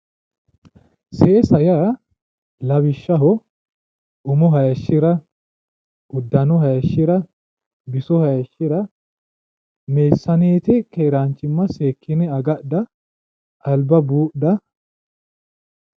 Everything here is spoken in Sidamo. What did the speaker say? Seesa yaa lawishshaho umo hayishira uddano hayishira Biso haayishshira meessaneete keeranchimma seekine agadha alba buudha